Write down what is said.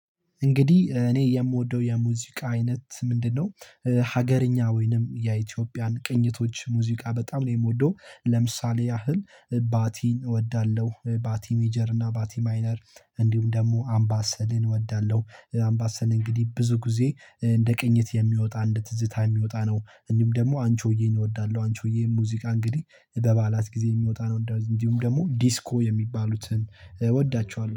እንግዲህ እኔ የምወደው የሙዚቃ አይነት ምንድነው? ሀገርኛ ወይንም የኢትዮጵያን ቅኝቶች ሙዚቃ በጣም ነው የምወደው። ለምሳሌ ያህል ባቲን እወዳለው ባቲ ሜጀር እና ባቲ ማይነር እንዲሁም ደግሞ አምባሰልን እወዳለው። አምባሰል እንግዲህ ብዙ ጊዜ እንደ ቅኝት የሚወጣ እንደ ትዝታ የሚወጣ ነው እንጂም ደግሞ አንቺ ሆዬን እወዳለው። አንቺ ሆዬን ሙዚቃ እንግዲህ በበዓላት ጊዜ የሚወጣ ነው እንድሁም ደግሞ ዲስኮ የሚባሉትን እወዳቸዋለው